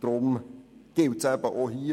Somit gilt es auch hier.